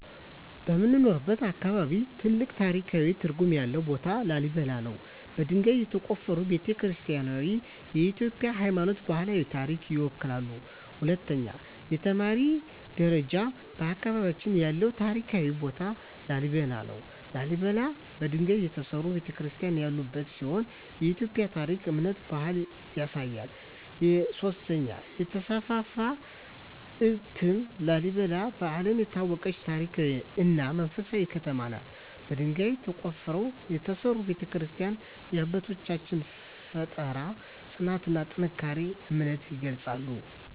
በምኖርበት አካባቢ ትልቅ ታሪካዊ ትርጉም ያለው ቦታ ላሊበላ ነው። በድንጋይ የተቆፈሩ ቤተ-ክርስቲያናትዋ የኢትዮጵያን ሃይማኖታዊና ባህላዊ ታሪክ ይወክላሉ። 2) የተማሪ ደረጃ በአካባቢያችን ያለው ታሪካዊ ቦታ ላሊበላ ነው። ላሊበላ በድንጋይ የተሠሩ ቤተ-ክርስቲያናት ያሉበት ሲሆን የኢትዮጵያን ታሪክ፣ እምነትና ባህል ያሳያል። 3) የተስፋፋ እትም ላሊበላ በዓለም የታወቀች ታሪካዊ እና መንፈሳዊ ከተማ ናት። በድንጋይ ተቆፍረው የተሠሩ ቤተ-ክርስቲያናትዋ የአባቶቻችንን ፍጠራ፣ ጽናትና ጠንካራ እምነት ይገልጻሉ።